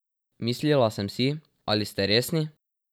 Mislila sem si, ali ste resni?